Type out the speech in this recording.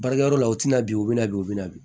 Baarakɛyɔrɔ la u tina bi u bɛ na bi u bɛ na bi